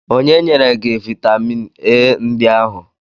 Onye nyere gị vitamin A ndị ahụ?